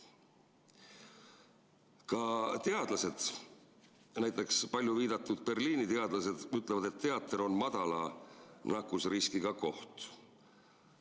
Ka teadlased, näiteks palju viidatud Berliini teadlased ütlevad, et teater on madala nakkusriskiga koht.